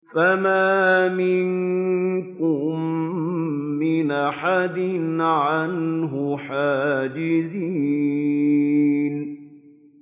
فَمَا مِنكُم مِّنْ أَحَدٍ عَنْهُ حَاجِزِينَ